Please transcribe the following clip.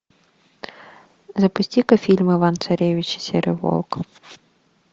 запусти ка фильм иван царевич и серый волк